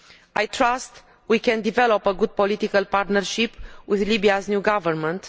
I trust we can develop a good political partnership with Libya's new government.